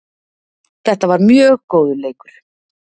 Þetta var mjög góður leikur